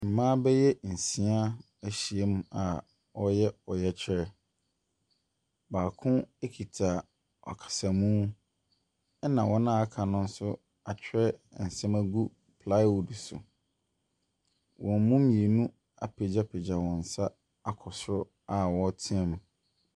Mmaa bɛyɛ nsia ɛhyia mu a ɔyɛ ɔyɛkyerɛ. Baako ekita akasamuu ɛna wɔn a aka no atwerɛ nsɛm ɛgu plywood so. Wɔn mu mmienu apegyapegya wɔn nsa akɔ soro a ɔretea mu.